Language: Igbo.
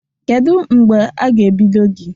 Kedu mgbe a ga-ebido gị?